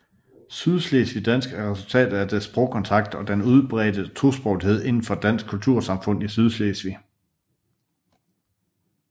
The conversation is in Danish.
Sydslesvigdansk er resultatet af sprogkontakt og den udbredte tosprogethed inden for det danske kultursamfund i Sydslesvig